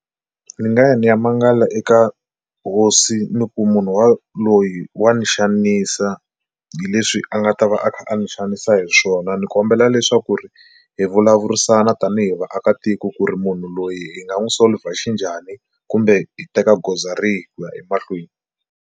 Ndzi nga ya ni ya mangala eka hosi ni ku munhu wa loyi wa ni xanisa hi leswi a nga ta va a kha a ndzi xanisa hi swona ni kombela leswaku ri hi vulavurisana tanihi vaakatiko ku ri munhu loyi hi nga n'wi solver xi njhani kumbe hi teka goza rihi ku ya emahlweni.